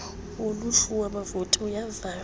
woluhlu lwabavoti uyavalwa